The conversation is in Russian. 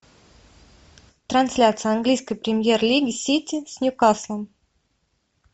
трансляция английской премьер лиги сити с ньюкаслом